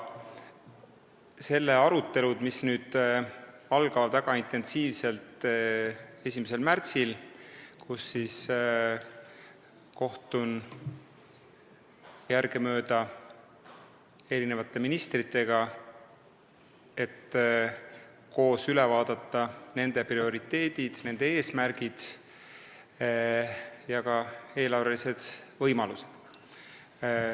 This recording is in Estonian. Nendel aruteludel, mis algavad väga intensiivselt 1. märtsil, kohtun järgemööda ministritega, et koos üle vaadata nende prioriteedid ja eesmärgid ning ka eelarvelised võimalused.